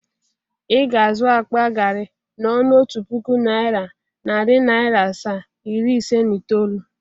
Ị ga-azụ akpa gari n'ọnụ otu puku naira, nari naira asaa, iri ise na itoolu,?